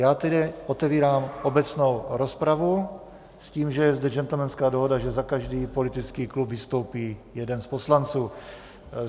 Já tedy otevírám obecnou rozpravu s tím, že je zde gentlemanská dohoda, že za každý politický klub vystoupí jeden z poslanců.